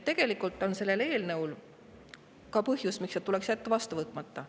Tegelikult on ka põhjus, miks see eelnõu tuleks jätta vastu võtmata.